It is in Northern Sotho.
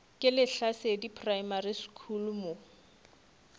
ke lehlasedi primary school mo